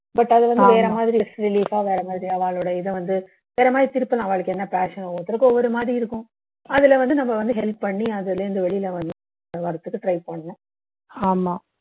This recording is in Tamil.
but அது வந்து வேற மாதிரி அவளோட இதை வந்து வேற மாதிரி திருப்பலாம் அவளுக்கு என்ன passion நோ ஒரு ஒருத்தருக்கு ஒரு மாதிரி இருக்கும் அதுல வந்து நம்ம வந்து help பண்ணி அதுல இருந்து வெளிய வரதுக்கு try பண்ணனும்